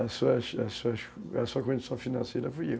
a sua a sua a sua condição financeira fui eu.